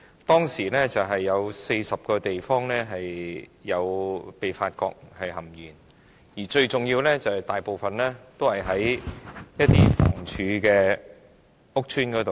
當時發現共40個地方的食水含鉛超標，當中大部分是房委會的公屋項目。